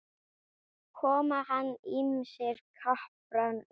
Komast hann ýmsir krappan í.